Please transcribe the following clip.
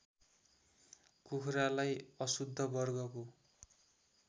कुखुरालाई अशुद्ध वर्गको